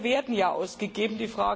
Die Gelder werden ja ausgegeben.